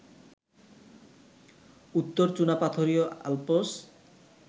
উত্তর চুনাপাথরীয় আল্পস